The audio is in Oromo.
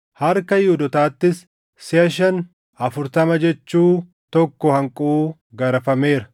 Harka Yihuudootaattis siʼa shan afurtama jechuu tokko hanquu garafameera.